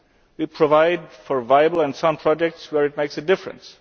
end. We provide for viable and sound projects where it makes a difference.